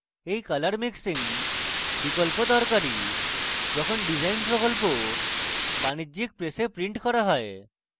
এই color mixing বিকল্প দরকারী যখন ডিসাইন প্রকল্প বাণিজ্যিক presses printed করা হয়